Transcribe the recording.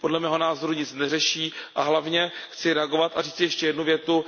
Podle mého názoru nic neřeší a hlavně chci reagovat a říci ještě jednu větu.